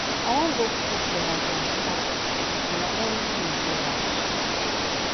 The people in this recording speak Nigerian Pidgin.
i wan go cook for my grandpa and na only him dey house